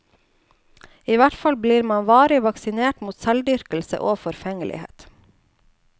I hvert fall blir man varig vaksinert mot selvdyrkelse og forfengelighet.